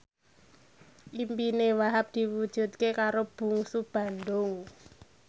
impine Wahhab diwujudke karo Bungsu Bandung